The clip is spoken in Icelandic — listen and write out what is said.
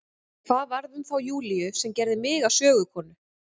En hvað varð um þá Júlíu sem gerði mig að sögukonu?